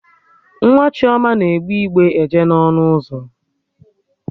Nwa Chioma na-egbe igbe eje n'ọnụ ụzọ